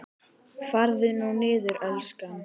Farðu nú niður, elskan.